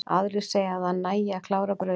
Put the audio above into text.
Aðrir segja að það nægi að klára brauðið.